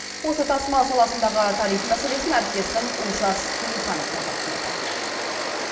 осы тасымал саласындағы тарих мәселесін әріптесім олжас керейхан талдап көрді